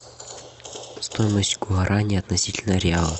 стоимость гуарани относительно реала